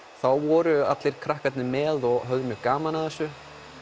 voru krakkarnir með og höfðu gaman af þessu